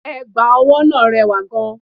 Ẹ̀gbà ọwọ́ náà rẹwà gan-an